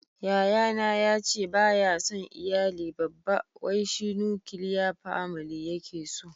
Yayana ya ce ba ya son iyali babba wai shi "nukiliya family" ya ke so